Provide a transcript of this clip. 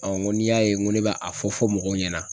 n ko n'i y'a ye n ko ne bɛ a fɔ fɔ mɔgɔw ɲɛna